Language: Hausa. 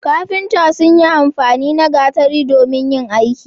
kafintan sun yi amfani na gatari domin yin aiki